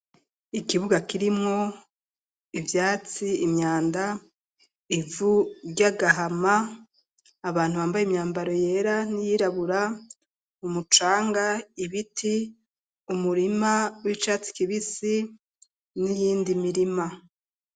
Ikibuga kirimwo ivyatsi imyanda, ivu ry'agahama, abantu bambaye imyambaro yera n’iyirabura, umucanga, ibiti, umurima w'icatsi kibisi, n'iyindi mirima.